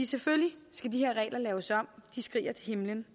selvfølgelig skal de her regler laves om det skriger til himlen